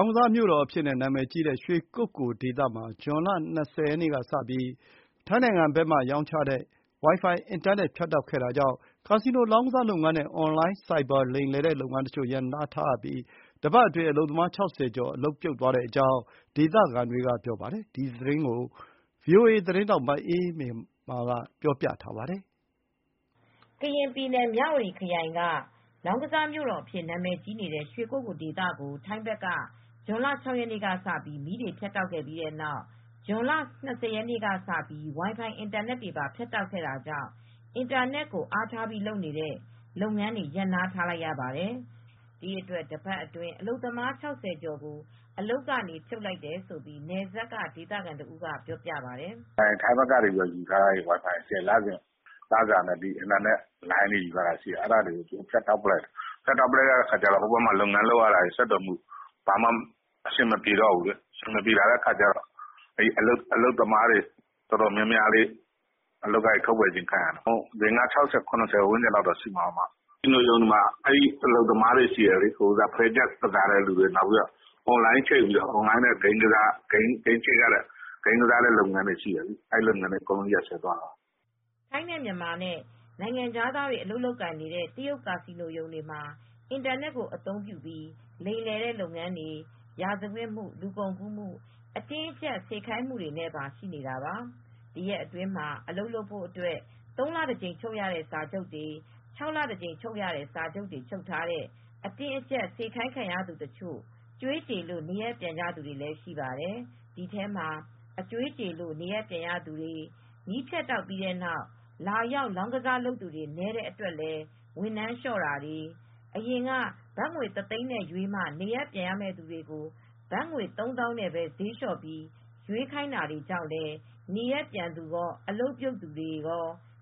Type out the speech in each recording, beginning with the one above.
ောင်းကစားမြို့တော်အဖြစ်နံမည်ကြီးတဲ့ ရွှေကုက္ကိုလ်ဒေသမှာ ဇွန်လ ၂၀ ရက်နေ့ကစပြီး ထိုင်းနိုင်ငံဖက်မှရောင်းချထားတဲ့ WIFI အင်တာနက် ဖြတ်တောက်ခဲ့တာကြောင့် ကာစီနို လောင်းကစားလုပ်ငန်းနဲ့ အွန်လိုင်းဆိုင်ဘာလိမ်လည်တဲ့ လုပ်ငန်းတချို့ရပ်နားထားရပြီ တပတ်အတွင်း အလုပ်သမား ၆၀ကျော် အလုပ်တွေပြုတ်သွားကြောင်းဒေသခံတွေကဆိုပါတယ် ။ ဒီသတင်းကို ဗွီအိုအေ သတင်းထောက်မအေးအေးမာကသတင်းပေးပို့ထားပါတယ်။ ကရင်ပြည်နယ်၊ မြဝတီမြို့ခရိုင်က လောင်းကစားမြို့တော်အဖြစ်နံမည်ကြီးတဲ့ ရွှေကုက္ကိုလ်ဒေသကို ထိုင်းဖက်က ဇွန်လ ၆ရက်နေ့ကစပြီး မီးတွေဖြတ်တောက်ခဲ့ပြီးနောက် ဇွန်လ ၂၀ရက်နေ့ကစပြီး WIFI အင်တာနက်တွေဖြတ်တောက်ခဲ့တာကြောင့် အင်တာနက်ကို အားထားပြီး လုပ်ကိုင်နေတဲ့ လုပ်ငန်းတွေရပ်နားလိုက်ရတာပါ။ ဒီအတွက်တပတ်အတွင်းအလုပ်သမား ၆၀ကျော်ကိုအလုပ်ကနေဖြုတ်လိုက်တယ်လို့နယ်စပ်ကဒေသခံတဦးကပြောပါတယ်။ "ထိုင်းဘက်ကယူထားတဲ့ WIFI တွေလစဉ်ယူထားတဲ့ဟာတွေလစာနဲ့အင်တာနက်လိုင်းတွေယူထားတာရှိတော့ အဲဒါတွေဖြတ်တောက်လိုက်တော့ ဟိုဖက်မှာ လုပ်ငန်းလုပ်ရတာတွေ ဆက်သွယ်မူတွေဘာမှ အဆင်မပြေတော့ဘူးဒီတော့အလုပ်သမားတွေအတော်များများအလုပ်ကနေထုတ်ခံရတယ်လူလေးငါးဆယ် ခြောက်ဆယ်လောက်ခုနှစ်ဆယ်ဝန်းကျင်လောက်ရှိတယ်ကာစီနိုတွေမှာ ဖဲချပ်ကစားတာတွေရှိတယ်၊ အွန်လိုင်းကနေ ဂိမ်းတွေကစားလုပ်ငန်းတွေရှိတယ်၊ အဲဒီလိမ်တဲ့လုပ်ငန်းတွေရပ်စဲသွားတာပေါ့" ထိုင်း မြန်မာ နဲ့နိုင်ငံခြားသားတွေအလုပ်လုပ်နေတဲ့ တရုတ်ကာစီနိုရုံတွေမှာ အင်တာနက်ကို အသုံးပြုပြီး လိမ်လည်တဲ့လုပ်ငန်းတွေ ရာဇဝတ်မှု၊ လူကုန်ကူးမှု အတင်းအကြပ်စေခိုင်းမှု တွေနဲ့ပါ ရှိနေတာပါ ။ ဒီရက်အတွင်းမှာ အလုပ်လုပ်ဖို့အတွက် ၃လတကြိမ်ချုပ်ရတဲ့စာချုပ်တွေ ၆လတကြိမ်ချုပ်ရတဲ့စာချုပ်တွေ ချုပ်ထားရတဲ့ အတင်းအကြပ်စေခိုင်းခံရသူတချို့ကြွေးကြေလို့နေရပ်ပြန်ကြသူတွေလည်းရှိပါတယ်။ ဒီထဲမှာ အကြွေးကျေလို့နေရပ်ပြန်ရသူတွေ မီးဖြတ်တောက်ပြီးတဲ့နောက် လာရောက်လောင်းကစားသူတွေ နည်းတဲ့အတွက်လည်း ဝန်ထမ်းလျော့တာတွေ အရင်က ဘတ်ငွေ တသိန်းနဲ့ရွေးမှ နေရပ်ပြန်ရမယ့်သူတွေကို ဘတ်ငွေ ၃သောင်းနဲ့ပဲ ဈေးလျော့ပြီး ရွေးခိုင်းတာတွေကြောင့်လည်း နေရပ်ပြန်သူတွေရော အလုပ်ပြုတ်သူ တွေပါ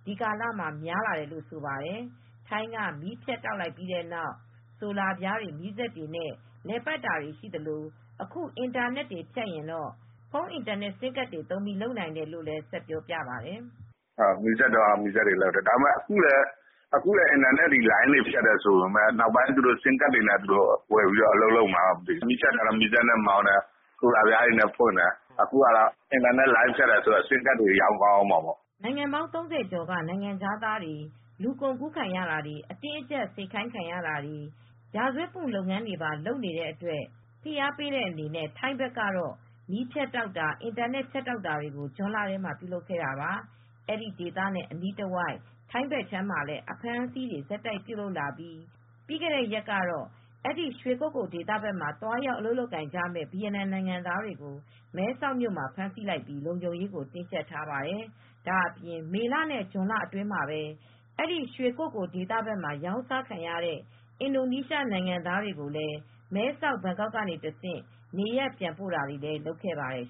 ဒီကာလမှာ များလာတာလို့ဆိုပါတယ်။ ထိုင်းကမီးဖြတ်တောက်ပြီးတဲ့နောက်ဆိုလာပြားတွေ မီးစက်တွေနဲ့ လည်ပတ်တာတွေ ရှိသလို့အခု လိုင်း အင်တာနက်တွေဖြတ်ရင်ဖုန်းအင်တာနက်ဆင်းကဒ်တွေသုံးပြီးလုပ်နိုင်တယ်လို့လည်းဆက်ပြောပြပါတယ်။ "မီးဖြတ်တုန်းကမီးစက်တွေလုပ်တယ် အခုလည်းအင်တာနက်လိုင်းတွေဖြတ်တယ်ဆိုပေမယ့် အင်တာနက် ရတဲ့ဆင်းကဒ်တွေလုပ်လို့ရတယ် မီးဖြတ်တုန်းက မီးစက်တွေ ဆိုလာပြားတွေနဲ့ဖွင့်တယ် အခုလည်း အင်တာနက်ဆင်းကဒ်တွေရောင်းကောင်းအုန်းမှာပေါ့" နိုင်ငံပေါင်း ၃၀ကျော်က နိုင်ငံခြားသားတွေ လူကုန်ကူးခံရတာတွေအတင်းအကြပ်စေခိုင်းခံနေရတာတွေ ရာဇဝတ်မှုလုပ်ငန်းတွေလုပ်နေတဲ့အတွက် ဖိအားပေးတဲ့အနေနဲ့ ထိုင်းဖက်ကတော့ မီးဖြတ်တောက်တာ အင်တာနက်ဖြတ်တောက်တာတွေကို ဇွန်လထဲမှာပြုလုပ်လာခဲ့တာပါ။ အဲဒီ ဒေသနဲ့အနီးတဝိုက် ထိုင်းဘက်ခြမ်းမှာလည်း အဖမ်းအဆီးတွေဆက်တိုက်ပြုလုပ်နေပြီး ပြီးခဲ့တဲ့ရက် ပိုင်းမှာတော့ အဲဒီ ရွှေကုက္ကိုလ် ဒေသဖက်သွားရောက်အလုပ်လုပ်ကိုင်မယ့် ဗီယက်နမ်နိုင်ငံသားတွေကို မဲဆောက်မှာဖမ်းဆီးလိုက်ပြီး လုံခြုံရေးကိုတင်းကြပ်ထားပါတယ်။ ဒါ့အပြင် မေလနဲ့ ဇွန်လအတွင်းမှာပဲအဲဒီ ရွှေကုက္ကိုလ် ဒေသဘက်မှာရောင်စားခံရတဲ့ အင်ဒိုနီးရှားနိုင်ငံသား တွေကို လည်း မဲဆောက်-ဘန်ကောက်ကနေတဆင့် နေရပ်ပြန်ပို့တာတွေလည်းလုပ်ခဲ့ပါတယ်